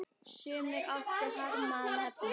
Sumir áttu harma að hefna.